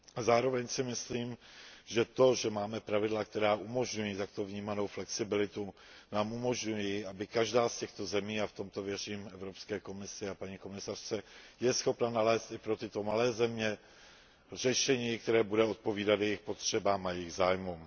Zároveň si myslím, že to, že máme pravidla, která umožňují takto vnímanou flexibilitu, nám umožňuje, aby každá z těchto zemí a v tomto věřím Evropské komisi a paní komisařce byla schopna nalézt řešení, které bude odpovídat jejím potřebám a jejím zájmům.